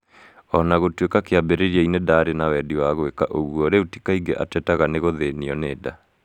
O na gũtuĩka kĩambĩrĩria-inĩ ndaarĩ na wendi wa gwĩka ũguo, rĩu ti kaingĩ atetega nĩ guthĩnio nĩ nda.